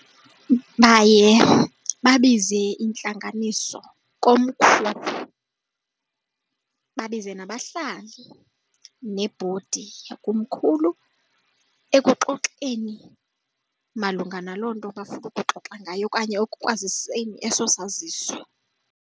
Baye babize intlanganiso komkhulu, babize nabahlali nebhodi yakomkhulu ekuxoxeni malunga naloo nto bafuna ukuxoxa ngayo okanye ekwaziseni eso saziso.